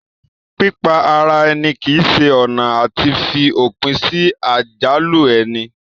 Pípa ara èni kìí se ọ̀nà àti fi òpin sí àjálù ẹni